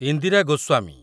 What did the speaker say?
Indira Goswami